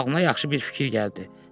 Ağlına yaxşı bir fikir gəldi.